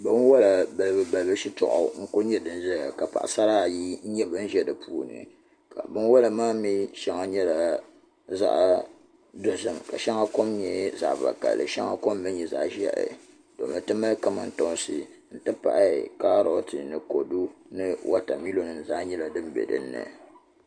Binwola balibu balibu shitɔɣu n ku nyɛ din ʒɛya ka paɣasara ayi ʒɛ di puuni binwola maa mii shɛŋa nyɛla zaɣ dozim ka shɛŋa kom nyɛ zaɣ vakaɣali ka shɛŋa kom mii nyɛ zaɣ ʒiɛhi ti mali kamantoosi n ti pahi kaaroti ni kodu n ti pahi wotamilo nim zaa nyɛla din bɛ dinni